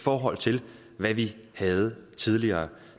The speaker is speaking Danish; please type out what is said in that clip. forhold til hvad vi havde tidligere